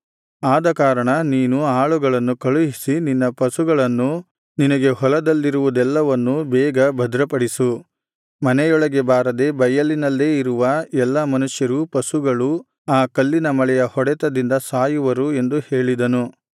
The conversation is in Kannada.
ಆದಕಾರಣ ನೀನು ಆಳುಗಳನ್ನು ಕಳುಹಿಸಿ ನಿನ್ನ ಪಶುಗಳನ್ನೂ ನಿನಗೆ ಹೊಲದಲ್ಲಿರುವುದೆಲ್ಲವನ್ನೂ ಬೇಗ ಭದ್ರಪಡಿಸು ಮನೆಯೊಳಗೆ ಬಾರದೆ ಬಯಲಿನಲ್ಲೇ ಇರುವ ಎಲ್ಲಾ ಮನುಷ್ಯರೂ ಪಶುಗಳೂ ಆ ಕಲ್ಲಿನ ಮಳೆಯ ಹೊಡೆತದಿಂದ ಸಾಯುವರು ಎಂದು ಹೇಳಿದನು